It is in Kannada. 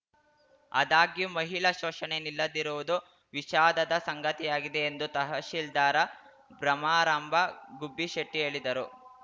ಆದಾಗ್ಯೂ ಮಹಿಳಾ ಶೋಷಣೆ ನಿಲ್ಲದಿರುವುದು ವಿಷಾದದ ಸಂಗತಿಯಾಗಿದೆ ಎಂದು ತಹಶೀಲ್ದಾರ ಭ್ರಮರಾಂಭ ಗುಬ್ಬಿಶೆಟ್ಟಿ ಹೇಳಿದರು